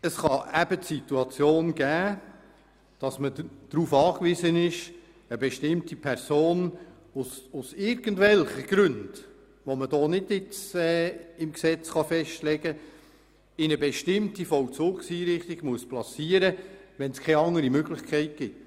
Es kann Situationen geben, in denen man darauf angewiesen ist, eine bestimmte Person aus irgendwelchen Gründen, die nicht im Gesetzt festgelegt werden können, in eine bestimmte Vollzugseinrichtung platzieren zu können, wenn es keine andere Möglichkeit gibt.